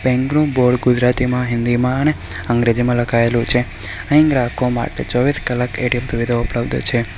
બેંકનું બોર્ડ ગુજરાતીમાં હિન્દીમાં અને અંગ્રેજીમાં લખાયેલું છે અહીં ગ્રાહકો માટે ચોવીસ કલાક એ_ટી_એમ સુવિધા ઉપલબ્ધ છે.